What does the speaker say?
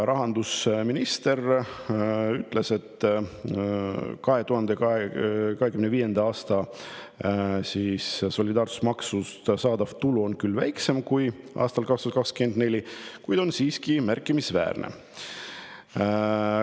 Rahandusminister on öelnud, et 2025. aastal solidaarsusmaksust saadav tulu on küll väiksem kui aastal 2024, kuid on siiski märkimisväärne.